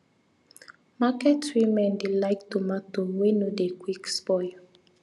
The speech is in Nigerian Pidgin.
market women dey like tomato wey no dey quick spoil